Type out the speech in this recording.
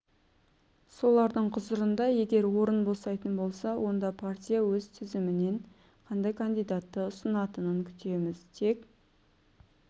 солардың құзырында егер орын босайтын болса онда партия өз тізімінен қандай кандидатты ұсынатынын күтеміз тек